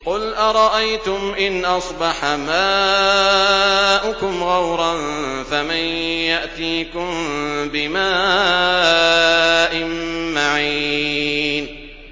قُلْ أَرَأَيْتُمْ إِنْ أَصْبَحَ مَاؤُكُمْ غَوْرًا فَمَن يَأْتِيكُم بِمَاءٍ مَّعِينٍ